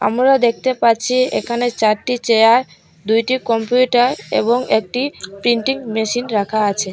আমোরা দেখতে পাচ্ছি এখানে চারটি চেয়ার দুইটি কম্পিউটার এবং একটি প্রিন্টিং মেশিন রাখা আছে।